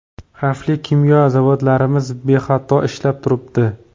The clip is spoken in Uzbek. Xavfli kimyo zavodlarimiz bexato ishlab turibdi.